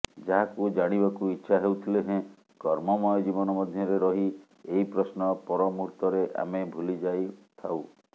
ଯାହାକୁ ଜାଣିବାକୁ ଇଚ୍ଛା ହେଉଥିଲେ ହେଁ କର୍ମମୟ ଜୀବନ ମଧ୍ୟରେ ରହି ଏହି ପ୍ରଶ୍ନ ପରମୁହୂର୍ତ୍ତରେ ଆମେ ଭୁଲିଯାଇଥାଉ